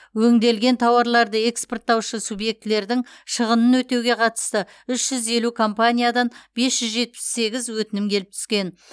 өңделген тауарларды экспорттаушы субъектілердің шығынын өтеуге қатысты үш жүз елу компаниядан бес жүз жетпіс сегіз өтінім келіп түскен